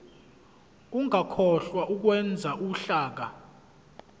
ungakhohlwa ukwenza uhlaka